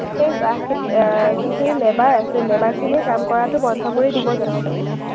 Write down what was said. সেই চাহ খেতিয়ক আহ যোনখিনি labor আছে, labor খিনিয়ে কাম কৰাটো বন্ধ কৰি দিব জানো?